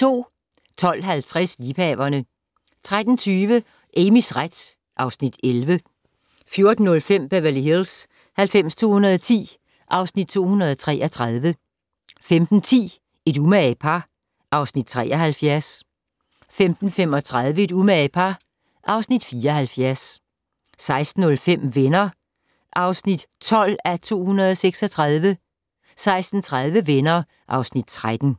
12:50: Liebhaverne 13:20: Amys ret (Afs. 11) 14:05: Beverly Hills 90210 (Afs. 233) 15:10: Et umage par (Afs. 73) 15:35: Et umage par (Afs. 74) 16:05: Venner (12:236) 16:30: Venner (Afs. 13)